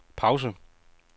pause